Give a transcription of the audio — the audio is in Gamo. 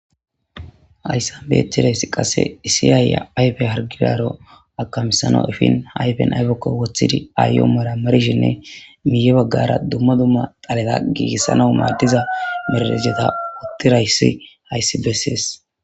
hayssanbeechchedeyss qasse issi aayya ayfe hargiraro akamisano ifin hayfen ayfekko wothidi aayyoo mara marshinne miye baggara dumma dumma xaleda giigissana maaddiza merajeta uttirayssi hayssi bessees